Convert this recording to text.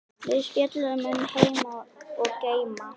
Við spjölluðum um heima og geima.